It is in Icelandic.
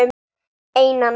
Eina nótt.